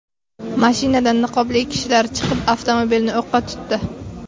Mashinadan niqobli kishilar chiqib, avtomobilni o‘qqa tutdi.